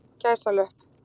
gæsalöpp